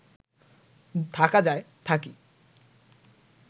থাকা যায়, থাকি